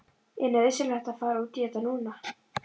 Er nauðsynlegt að fara út í þetta núna?